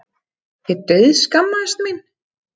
Ég dauðskammaðist mín.